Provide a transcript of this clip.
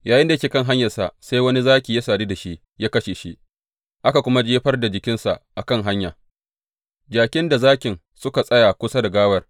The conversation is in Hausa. Yayinda yake kan hanyarsa, sai wani zaki ya sadu da shi ya kashe shi, aka kuma jefar da jikinsa a kan hanya, jakin da zakin suka tsaya kusa da gawar.